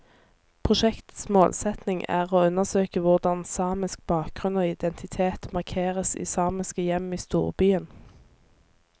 Prosjektets målsetning er å undersøke hvordan samisk bakgrunn og identitet markeres i samiske hjem i storbyen.